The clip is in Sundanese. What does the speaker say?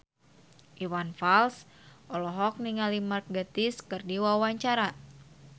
Iwan Fals olohok ningali Mark Gatiss keur diwawancara